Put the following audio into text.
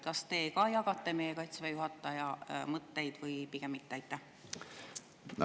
Kas te jagate meie Kaitseväe juhataja mõtteid või pigem mitte?